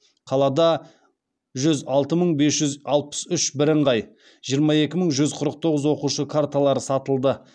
қалада жүз алты мың бес жүз алпыс үш бірыңғай жиырма екі мың жүз қырық тоғыз оқушы карталары сатылды